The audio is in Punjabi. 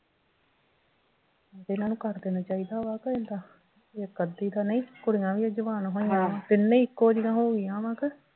ਇਹਨਾਂ ਨੂੰ ਕਰ ਦੇਣਾ ਚਾਹੀਦਾ ਵਾ ਕਿ ਏਦਾਂ ਇੱਕ ਅੱਧੀ ਤਾਂ ਨਹੀਂ ਕੁੜੀਆਂ ਵੀ ਆ ਜਵਾਨ ਹੋਈਆਂ ਆ ਤਿੰਨੇ ਈ ਇੱਕੋ ਜਿਹੀਆਂ ਹੋਗੀਆਂ ਵਾ ਕਿ